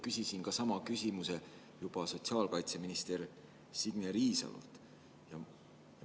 Küsisin sama küsimuse sotsiaalkaitseminister Signe Riisalolt.